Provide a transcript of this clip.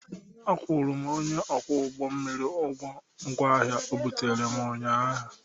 Akwụrụ m onye ọkwọ ụgbọ mmiri ụgwọ ngwa ahịa o buteere m ụnyaahụ.